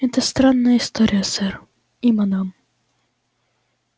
это странная история сэр и мадам